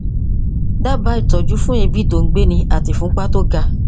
dábàá ìtọjú fún èébì tó ń gbéni àti ìfúnpá tó ga